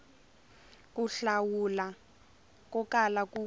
ku hlawula ko kala ku